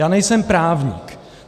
Já nejsem právník.